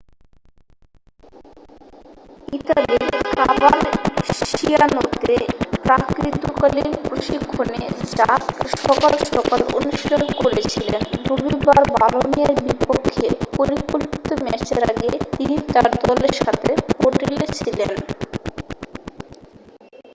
ইতালির কভারসিয়ানোতে প্রাক-ঋতুকালীন প্রশিক্ষণে জার্ক সকাল সকাল অনুশীলন করছিলেন রবিবার বলোনিয়ার বিপক্ষে পরিকল্পিত ম্যাচের আগে তিনি তার দলের সাথে হোটেলে ছিলেন